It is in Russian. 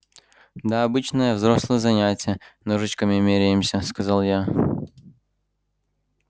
да обычное взрослое занятие ножичками меряемся сказал я